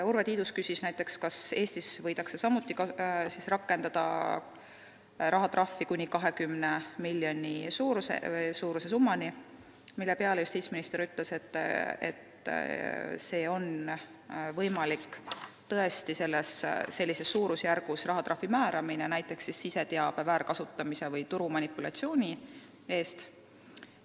Urve Tiidus küsis näiteks, kas Eestis võidakse samuti rakendada rahatrahve, mille suurus on kuni 20 miljonit eurot, mille peale justiitsminister ütles, et tõesti on võimalik sellises suurusjärgus rahatrahvi määrata näiteks siseteabe väärkasutamise või turumanipulatsiooni eest.